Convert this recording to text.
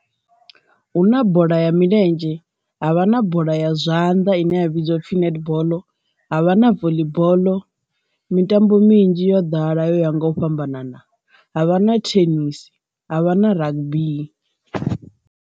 Hu na bola ya milenzhe, havha na bola ya zwanḓa ine ya vhidziwa upfhi netball, ha vha na voḽi boḽo mitambo minzhi yo ḓala ya nga u fhambanana ha vha na tennis ha vha na rugby.